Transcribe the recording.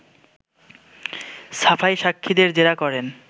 সাফাই সাক্ষীদের জেরা করেন